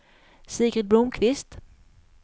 Sigrid Blomkvist